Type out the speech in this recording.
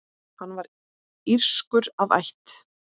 Hann var írskur að ætt.